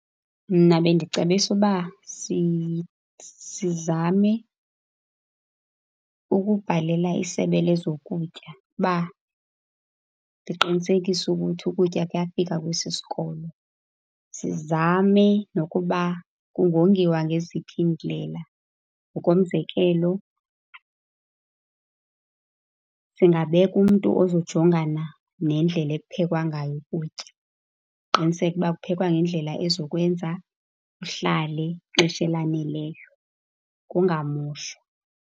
Mna bendicebisa uba sizame ukubhalela iSebe lezoKutya ukuba liqinisekise ukuthi ukutya kuyafika kwesi sikolo. Sizame nokuba kungongiwa ngeziphi iindlela. Ngokomzekelo, singabeka umntu ozojongana nendlela ekuphekwa ngayo ukutya. Qiniseke ukuba kuphekwa ngendlela ezokwenza kuhlale ixesha elaneleyo, kungamoshwa.